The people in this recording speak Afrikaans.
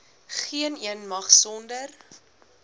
geeneen mag sonder